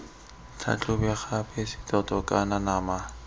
tlhatlhobe gape setoto kana nama